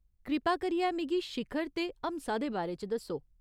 कृपा करियै मिगी शिखर ते हमसा दे बारे च दस्सो।